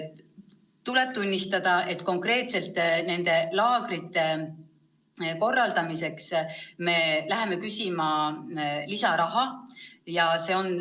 Tuleb tunnistada, et konkreetselt nende laagrite korraldamiseks me läheme küsima lisaraha.